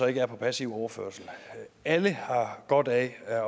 ikke er på passiv overførsel alle har godt af at